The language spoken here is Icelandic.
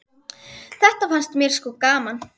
Þetta fannst mér sko gaman.